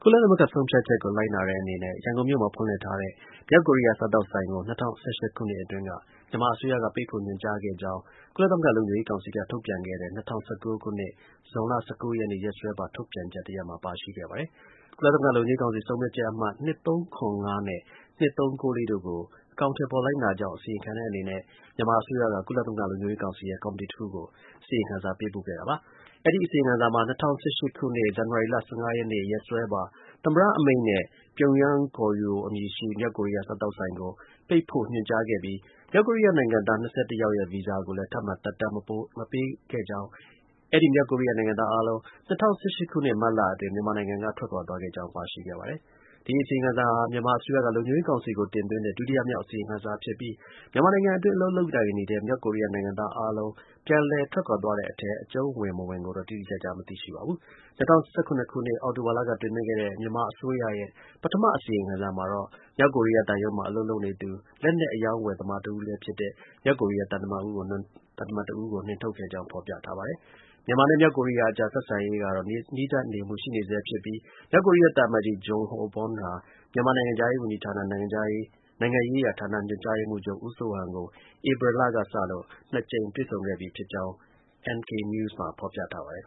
ုလသမဂ္ဂ ဆုံးဖြတ်ချက်ကို လိုက်နာတဲ့အနေနဲ့ ရန်ကုန်မြို့မှာ ဖွင့်လှစ်ထားတဲ့ မြောက်ကိုရီးယား စားသောက်ဆိုင်ကို ၂၀၁၈ ခုနှစ်အတွင်းက မြန်မာအစိုးရက ပိတ်ဖို့ ညွှန်ကြားခဲ့ကြောင်း ကုလသမဂ္ဂ လုံခြုံရေးကောင်စီက ထုတ်ပြန်ခဲ့တဲ့ ၂၀၁၉ ခုနှစ်၊ ဇွန်လ ၁၉ ရက်နေ့ ရက်စွဲပါ ထုတ်ပြန်ချက် တခုမှာ ပါရှိခဲ့ပါတယ်။ ကုလသမဂ္ဂ လုံခြုံရေးကောင်စီ ဆုံးဖြတ်ချက်အမှတ် ၂၃၇၅ နဲ့ ၂၃၉၄ တို့ကို အကောင်အထည်ဖော် လိုက်နာကြောင်း အစီရင်ခံတဲ့အနေနဲ့ မြန်မာအစိုးရက ကုလသမဂ္ဂ လုံခြုံရေးကောင်စီရဲ့ ကော်မတီတစ်ခုကို အစီရင်ခံစာ ပေးပိုခဲ့တာပါ။ အဲဒီ အစီရင်ခံစာမှာ ၂၀၁၈ ခုနှစ် ဇန်နဝါရီလ ၁၅ ရက်နေ့ ရက်စွဲပါ သမ္မတ အမိန်နဲ့ Pyongyang Koryo အမည်ရှိ မြောက်ကိုရီးယား စားသောက်ဆိုင်ကို ပိတ်ဖို့ ညွှန်ကြားခဲ့ပြီး မြောက်ကိုရီးယား နိုင်ငံသား ၂၁ ယောက်ရဲ့ ဗီဇာကိုလည်း ထပ်မံ သက်တမ်း မတိုးပေးခဲ့ကြောင်း၊ အဲဒီ မြောက်ကိုရီးယားနိုင်ငံသား အားလုံး ၂၀၁၈ ခုနှစ် မတ်လအတွင်း မြန်မာနိုင်ငံက ထွက်ခွာသွားခဲ့ကြောင်း ပါရှိပါတယ်။ ဒီ အစီရင်ခံစာဟာ မြန်မာအစိုးရက လုံခြုံရေးကောင်စီကို တင်သွင်းတဲ့ ဒုတိယမြောက် အစီရင်ခံစာဖြစ်ပြီး မြန်မာနိုင်ငံအတွင်း အလုပ်လုပ်ကိုင် နေတဲ့ မြောက်ကိုရီးယားနိုင်ငံသား အားလုံး ပြန်လည် ထွက်ခွာသွားတဲ့အထဲ အကျုုံးဝင် မဝင်ကိုတော့ တိတိကျကျ မသိရှိပါဘူး။ ၂၀၁၇ ခုနှစ် အောက်တိုဘာလက တင်သွင်းခဲ့တဲ့ မြန်မာအစိုးရရဲ့ ပထမ အစီရင်ခံစာမှာတော့ မြောက်ကိုရီးယား သံရုံးမှာ အလုပ်လုပ်နေသူ လက်နက် အရောင်းအဝယ်သမားတစ်ဦးလည်းဖြစ်တဲ့ သံတမန် တဦးကို နှင်ထုတ်ခဲ့ကြောင်း ဖော်ပြထားပါတယ်။ မြန်မာနဲ့ မြောက်ကိုရီးယားအကြား ဆက်ဆံရေးက နီးစပ်မှု ရှိနေဆဲဖြစ်ပြီး မြောက်ကိုရီးယား သံအမတ်ကြီး Jong Ho Bom ဟာ မြန်မာနိုင်ငံခြားရေးဝန်ကြီးဌာန၊ နိုင်ငံရေးရာဌာန ညွှန်ကြားရေးမှူးချုပ် ဦးစိုးဟန်ကို ဧပြီလကစလို့ နှစ်ကြိမ် တွေ့ဆုံခဲ့ပြီးဖြစ်ကြောင်း NKNEWS မှာ ဖော်ပြထားပါတယ်